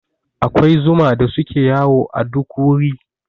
Akwai zuma da suke yawo a duk wuri.